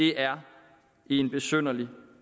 det er en besynderlig